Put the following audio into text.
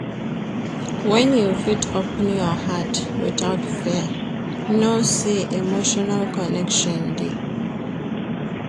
Wen you fit open your heart witout fear, know sey emotional connection dey.